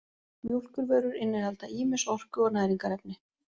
Mjólkurvörur innihalda ýmis orku- og næringarefni.